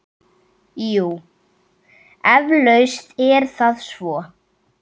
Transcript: Jú, eflaust er það svo.